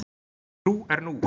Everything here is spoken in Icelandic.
Trú er nú!